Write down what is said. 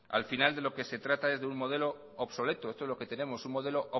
al final de lo que se trata es de un modelo obsoleto esto es lo que tenemos un modelo